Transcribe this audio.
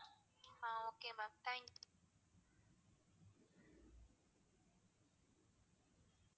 Ah okay ma'am thank.